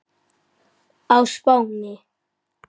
á Spáni.